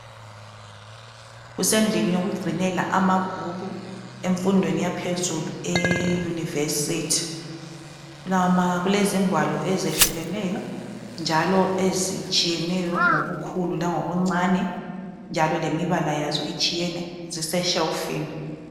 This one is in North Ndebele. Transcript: Kusendlini yokugcinela amabhuku emfundweni yaphezulu e university. Kulama kulezingwalo ezehlukeneyo njalo ezitshiyeneyo ngobukhulu langobuncane njalo lemibala yazo itshiyene zise shelfini